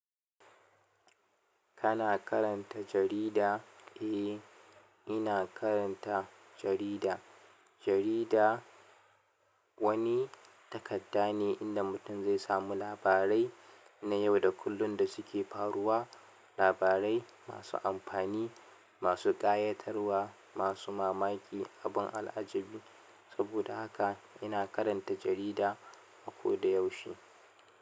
Kana karanta jarida? Eh, ina karanta jarida. Jarida wani takadda ne inda mutum zai samu labarai na yau da kullun da suke faruwa, labarai masu amfani, masu ƙayatarwa, masu mamaki, abun al'ajabi. Saboda haka ina karanta jarida a koda yaushe.